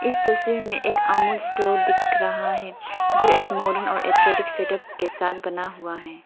इस तस्वीर में हमें एक अमूल स्टोर दिख रहा है जो एक मॉडल और अट्रैक्टिव सेटअप के साथ बना हुआ है।